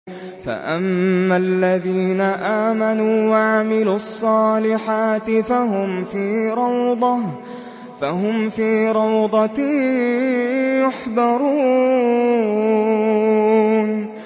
فَأَمَّا الَّذِينَ آمَنُوا وَعَمِلُوا الصَّالِحَاتِ فَهُمْ فِي رَوْضَةٍ يُحْبَرُونَ